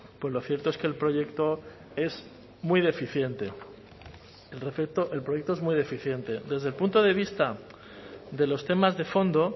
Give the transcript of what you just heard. pues lo cierto es que el proyecto es muy deficiente desde el punto de vista de los temas de fondo